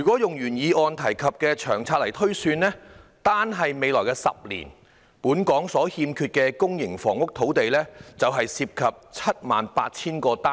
按原議案提及的《長遠房屋策略》推算，單是未來10年，本港所欠缺的公營房屋土地便涉及 78,000 個單位。